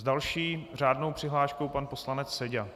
S další řádnou přihláškou pan poslanec Seďa.